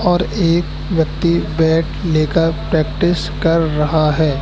और एक व्यक्ति बैट लेकर प्रैक्टिस कर रहा है।